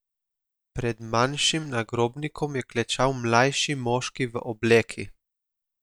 Pred manjšim nagrobnikom je klečal mlajši moški v obleki.